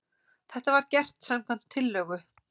Þetta var gert samkvæmt tillögu